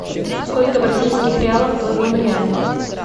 сколько бразильских реалов в одном реале